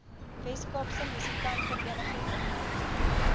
weskaapse musikantevereniging opnuut